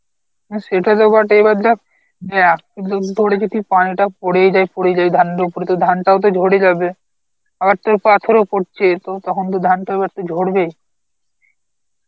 হ্যাঁ সেটা তো বটেই এবার দেখ অ্যাঁ উম তোরে যদি পানিটা পরেই যায় পরেই যায় ধানের উপরে তোর ধান টাও তো ঝরে যাবে, আর তোর পাথরও পড়ছে তো কখন যে ধানটা ঝরবে